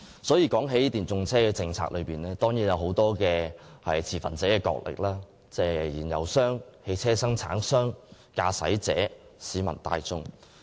所以，談到電動車政策，當然涉及眾多持份者角力，例如燃油商、汽車生產商、駕駛者及市民大眾。